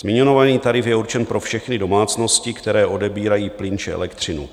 Zmiňovaný tarif je určen pro všechny domácnosti, které odebírají plyn či elektřinu.